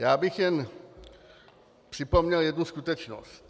Já bych jen připomněl jednu skutečnost.